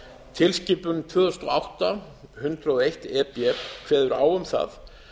tilskipun tvö þúsund og átta hundrað og eitt e b kveður á um það